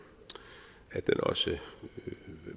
også